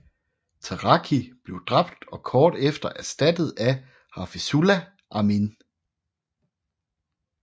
Taraki blev dræbt og kort efter erstattet af Hafizullah Amin